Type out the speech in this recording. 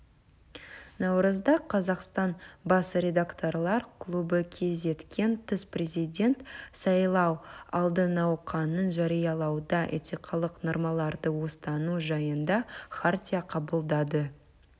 наурызда қазақстан бас редакторлар клубы кезектен тыс президент сайлау алды науқанын жариялауда этикалық нормаларды ұстану жайында хартия қабылдады